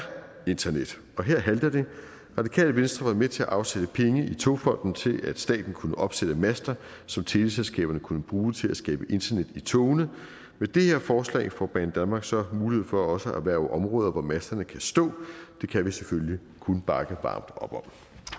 internet og her halter det radikale venstre har været med til at afsætte penge i togfonden dk til at staten kunne opsætte master som teleselskaberne kunne bruge til at skabe internet i togene med det her forslag får banedanmark så mulighed for også at erhverve områder hvor masterne kan stå det kan vi selvfølgelig kun bakke varmt op om